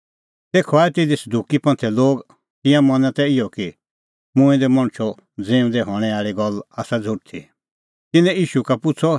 तेखअ आऐ तिधी सदुकी लोग तिंयां मना तै इहअ कि मूंऐं दै मणछो ज़िऊंदै हणैं आल़ी गल्ल आसा झ़ुठी तिन्नैं ईशू का पुछ़अ